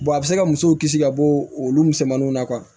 a bɛ se ka muso kisi ka bɔ olu misɛnmaninw na